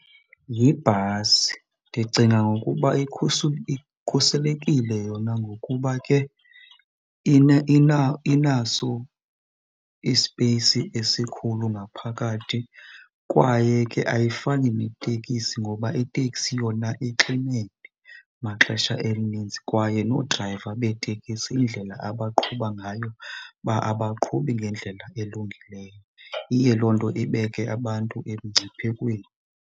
Yibhasi, ndicinga ngokuba ikhuselekile yona ngokuba ke inaso ispeyisi esikhulu ngaphakathi kwaye ke ayifani netekisi ngoba iteksi yona ixinene maxesha elininzi. Kwaye noodrayiva beetekisi indlela abaqhuba ngayo abaqhubi ngendlela elungileyo, iye loo nto ibeke abantu emngciphekweni.